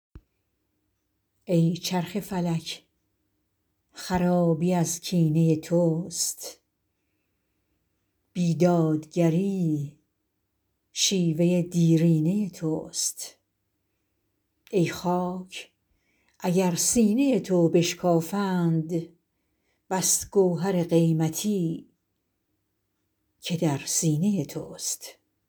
ای چرخ فلک خرابی از کینه توست بی دادگری شیوه دیرینه توست ای خاک اگر سینه تو بشکافند بس گوهر قیمتی که در سینه توست